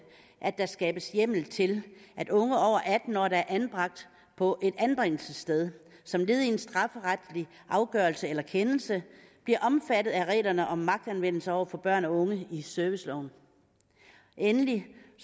at der skabes hjemmel til at unge over atten år der er anbragt på et anbringelsessted som led i en strafferetlig afgørelse eller kendelse bliver omfattet af reglerne om magtanvendelse over for børn og unge i serviceloven endelig